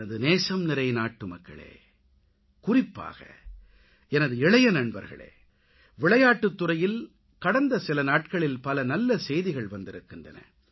எனது நேசம்நிறை நாட்டுமக்களே குறிப்பாக எனது இளைய நண்பர்களே விளையாட்டுத்துறையில் கடந்த சில நாட்களில் பல நல்ல செய்திகள் வந்திருக்கின்றன